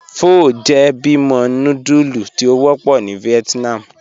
Pho jẹ́ bímo núdúlù tí o wọpọ̀ ni Vietnam.